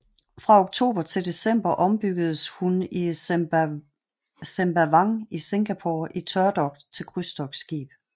Fra oktober til december ombyggedes hun i Sembawang i Singapore i tørdok til krydstogtskib